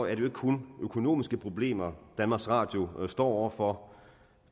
jo ikke kun økonomiske problemer danmarks radio står over for